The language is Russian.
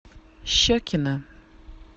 щекино